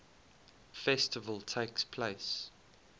festival takes place